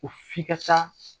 Ko f'i ka taa